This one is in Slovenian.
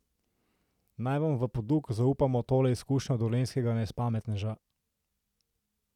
Naj vam v poduk zaupamo tole izkušnjo dolenjskega nespametneža.